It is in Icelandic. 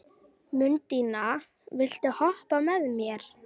Mundína, viltu hoppa með mér?